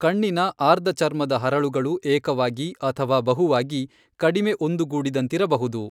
ಕಣ್ಣಿನ ಆರ್ದಚರ್ಮದ ಹರಳುಗಳು ಏಕವಾಗಿ, ಅಥವಾ ಬಹುವಾಗಿ, ಕಡಿಮೆ ಒಂದುಗೂಡಿದಂತಿರಬಹುದು.